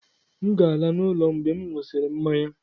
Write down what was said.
M ga-ala n'ụlọ mgbe m ṅụsịrị mmanya.